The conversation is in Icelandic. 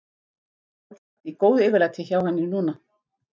Sjálfsagt í góðu yfirlæti hjá henni núna.